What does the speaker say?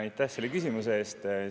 Aitäh selle küsimuse eest!